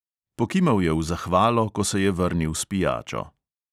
Pokimal je v zahvalo, ko se je vrnil s pijačo.